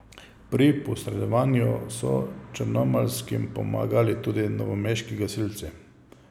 Pri posredovanju so črnomaljskim pomagali tudi novomeški gasilci.